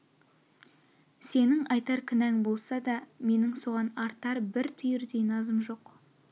сенің айтар кінәң болса да менің саған артар бір түйірдей назым жоқ